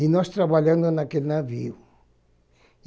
E nós trabalhando naquele navio.